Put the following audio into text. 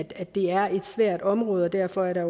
at det er et svært område og derfor er der